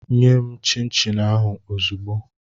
Nye m chịn chịn ahụ ozugbu!